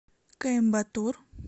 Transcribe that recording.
коимбатур